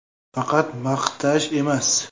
Faqat maqtash emas.